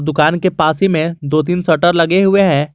दुकान के पास ही में दो तीन शटर लगे हुए हैं।